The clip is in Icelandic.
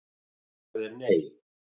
Svarið er nei.